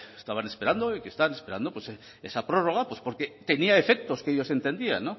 que bueno estaban esperando y que están esperando esa prórroga porque tenía defectos que ellos entendían